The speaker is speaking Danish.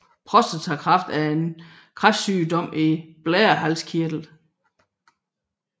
Prostatakræft er en kræftsygdom i blærehalskirtlen